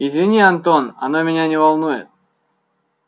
извини антон оно меня не волнует